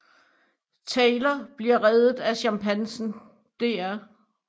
Taylor bliver reddet af chimpansen Dr